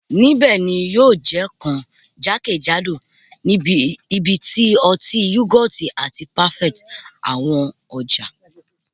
Nibẹ ni yio je kan jakejado ibiti o ti yougurt ati parfaits awọn ọja